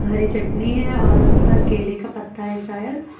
हरी चटनी है और उस पर केले का पत्ता है शायद।